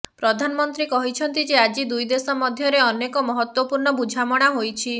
ପ୍ରଧାନମନ୍ତ୍ରୀ କହିଛନ୍ତି ଯେ ଆଜି ଦୁଇ ଦେଶ ମଧ୍ୟରେ ଅନେକ ମହତ୍ୱପୂର୍ଣ୍ଣ ବୁଝାମଣା ହୋଇଛି